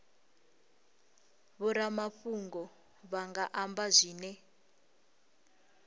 vhoramafhungo vha nga amba zwine